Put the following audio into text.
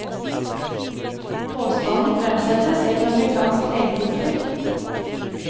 Påstanden fremsettes i et amerikansk legetidsskrift.